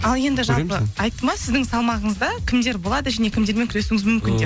ал енді жалпы айтты ма сіздің салмағыңызда кімдер болады және кімдермен күресуіңіз мүмкін деп